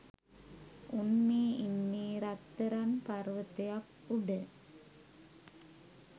උන් මේ ඉන්නේ රත්තරන් පර්වතයක් උඩ